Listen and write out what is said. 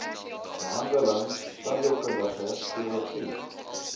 behandeling tandheelkundige chirurgie